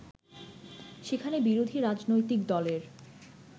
সেখানে বিরোধী রাজনৈতিক দলের